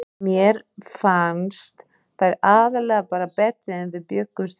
Mér fannst þær aðallega bara betri en við bjuggumst við.